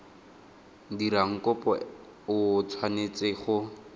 dirang kopo o tshwanetse go